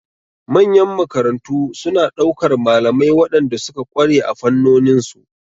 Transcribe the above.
Manyan makarantu suna ɗaukar malamai waɗanda suka ƙware a fannonin su.